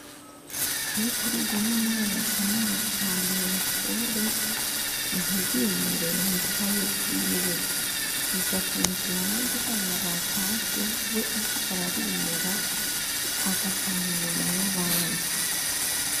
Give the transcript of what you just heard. Karikurubu, ni umwana, asamara cane mw'ishure, ntiyimure mw'ikaye ziwe; bigatuma, igihe abandi bana batashe, we asigara arimura, agataha, inyuma y'abandi.